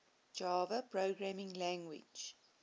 java programming language